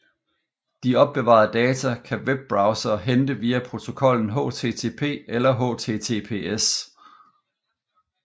De opbevarede data kan webbrowsere hente via protokollen HTTP eller HTTPS